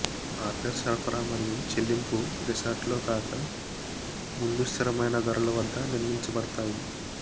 order సరఫరా మరియు చెల్లింపు రిసార్ట్ లో రాక ముందు స్థిరమైన ధరలు వద్ద నిర్మించబడతాయి